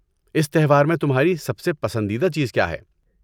اس تہوار میں تمہاری سب سے پسندیدہ چیز کیا ہے؟